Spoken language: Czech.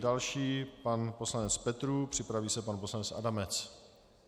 Další pan poslanec Petrů, připraví se pan poslanec Adamec.